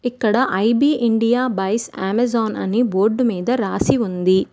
ఇక్కడ I B India buys Amazon అని board మీద రాసి ఉంది.